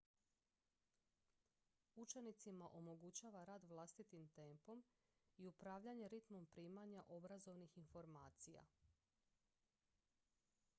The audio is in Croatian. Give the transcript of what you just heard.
učenicima omogućava rad vlastitim tempom i upravljanje ritmom primanja obrazovnih informacija